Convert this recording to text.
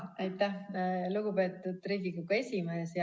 Aitäh, lugupeetud Riigikogu esimees!